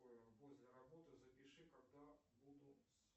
после работы запиши когда буду